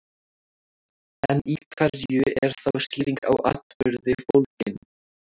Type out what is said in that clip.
En í hverju er þá skýring á atburði fólgin?